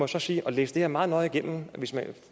så sige og læse det her meget nøje igennem